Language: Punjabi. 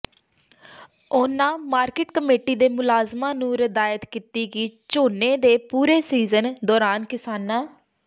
ਉਨ੍ਹਾਂ ਮਾਰਕੀਟ ਕਮੇਟੀ ਦੇ ਮੁਲਾਜ਼ਮਾਂ ਨੂੰ ਹਦਾਇਤ ਕੀਤੀ ਕਿ ਝੋਨੇ ਦੇ ਪੂਰੇ ਸ਼ੀਜਨ ਦੌਰਾਨ ਕਿਸਾਨਾਂ